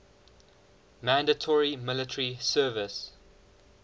mandatory military service